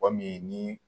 Mɔgɔ min ni